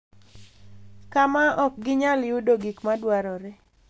Kama ok ginyal yudo gik ma dwarore.